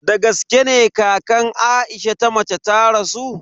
Dagaske ne kakan Aisha ta mace ta rasu?